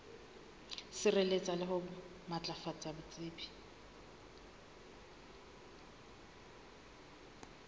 sireletsa le ho matlafatsa botsebi